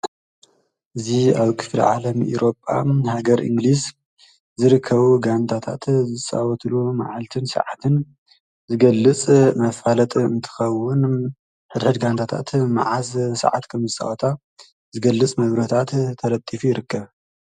እዙ ኣብ ክፊል ዓለም ይሮፓ ሃገር ኢንግሊዝ ዝርከቡ ጋንታታት ዝፃወትሉ መዓልትን ሰዓትን ዝገልጽ መፋለጥ እትኸውን ኅረድ ጋንታታት መዓዝ ሰዓት ከምዝፃዋታ ዝገልጽ መብረታት ተረቲፉ ይርከብ።